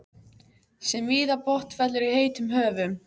sem víða botnfellur í heitum höfum.